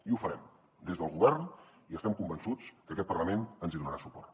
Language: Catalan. i ho farem des del govern i estem convençuts que aquest parlament ens hi donarà suport